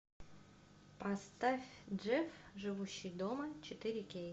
поставь джефф живущий дома четыре кей